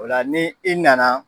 O la ni i nana